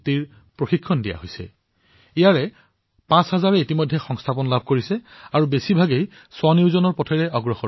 মোৰ মৰমৰ দেশবাসীসকল আপোনালোকে এয়া জানি অতিশয় সুখী হব যে এই কাৰ্যসূচীৰ অধীনত যোৱা দুবছৰত ওঠৰ হাজাৰ যুৱকযুৱতীয়ে ৭৭টা ভিন্ন বিষয়ত প্ৰশিক্ষণ লাভ কৰিছে